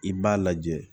I b'a lajɛ